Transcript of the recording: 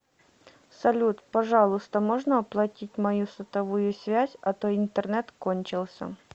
салют пожалуйста можно оплатить мою сотовую связь а то интернет кончился